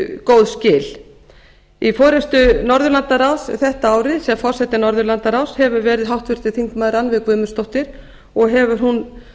góð skil í forustu norðurlandaráðs þetta árið sem forseti norðurlandaráðs hefur verið háttvirtur þingmaður rannveig guðmundsdóttir og hefur hún